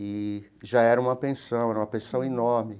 E já era uma pensão, era uma pensão enorme.